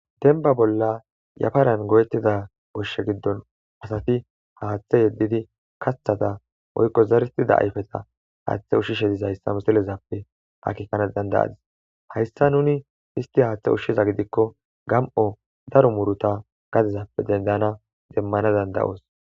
Dembba bolla yafaran goyetida goshshe giddon asati haaththe yeddidi kaththa ayfe woykko zeritada ayfeta haaththe ushshishe dizayssa misilezappe akkekana danda'adis. Hayssa nuni issi haaththe ushshiza gidikko gami'o daro muuruta gadezappe demmana danda'os.